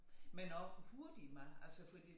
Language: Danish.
Men også hurtig mad altså fordi